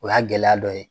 O y'a gɛlɛya dɔ ye